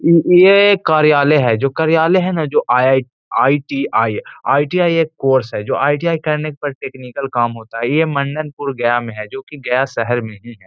ये कार्यालय है जो कार्यालय हैं ना जो आई-आई आई.टी.आई । आई.टी.आई. एक कोर्स है जो आई.टी.आई. करने के बाद टेक्निकल काम होता है। ये मंडनपुर गया मे है जो कि गया शहर में ही है।